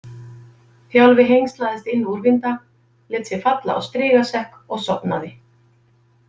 Þjálfi hengslaðist inn úrvinda, lét sig falla á strigasekk og sofnaði.